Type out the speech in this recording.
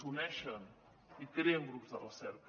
s’uneixen i creen grups de recerca